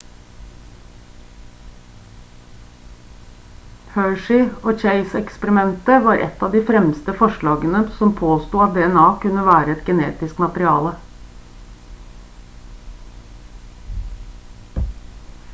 hershey og chase-eksperimentet var et av de fremste forslagene som påsto at dna kunne være et genetisk materiale